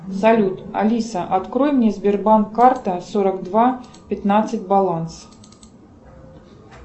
салют алиса открой мне сбербанк карта сорок два пятнадцать баланс